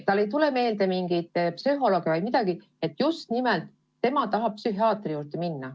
Talle ei tule pähe mingi psühholoog, mõte, et ta just nimelt tahab psühhiaatri juurde minna.